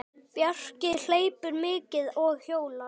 Bjarki hleypur mikið og hjólar.